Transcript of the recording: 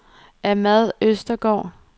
Ahmad Østergaard